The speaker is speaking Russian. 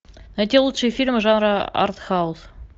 найти лучшие фильмы жанра артхаус